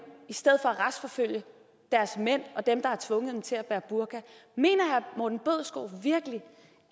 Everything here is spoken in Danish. i stedet for at retsforfølge deres mænd og dem der har tvunget dem til at bære burka mener herre morten bødskov virkelig